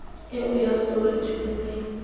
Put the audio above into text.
eo ya soweto e ne